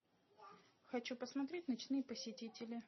хочу посмотреть ночные посетители